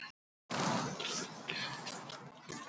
Hann otaði honum nokkrum sinnum í áttina að piltinum.